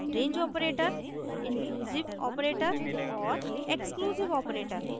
range operator inclusive operator और exclusive operator